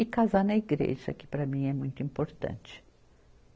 E casar na igreja, que para mim é muito importante.